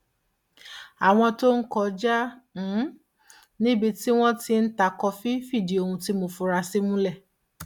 àwọn tó ń kọjá um níbi tí wọn ti ń ta kọfí fìdí ohun tí mo fura sí múlẹ